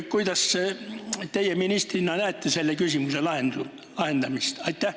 Kuidas teie ministrina selle küsimuse lahendust näete?